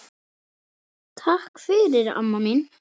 Takk fyrir, amma mín.